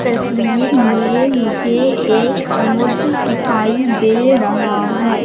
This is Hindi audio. तस्वीर में मुझे एक समुद दिखाई दे रहा है।